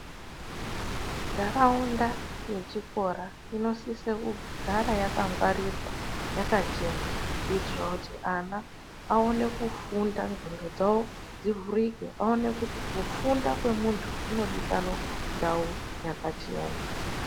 Nharaunda yechikora inosise kugara yakangwarirwa, yakachena kuitire kuti ana afunde ndxondo dzavo dzakavhurika kufunda kwemunhu kunodikanwa ndau yakachena.